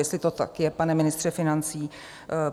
Jestli to tak je, pane ministře financí?